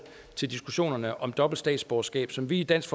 til diskussionen om dobbelt statsborgerskab som vi i dansk